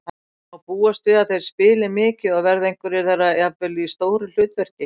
Má búast við að þeir spili mikið og verða einhverjir þeirra jafnvel í stóru hlutverki?